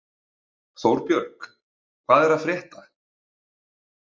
Þórbjörg, hvað er að frétta?